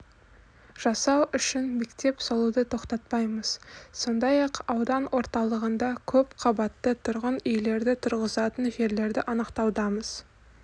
жасау үшін мектеп салуды тоқтатпаймыз сондай-ақ аудан орталығында көп қабатты тұрғын үйлерді тұрғызатын жерлерді анықтаудамыз